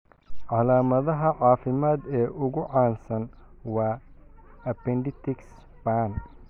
Calaamadaha caafimaad ee ugu caansan waa appendicitis ba'an.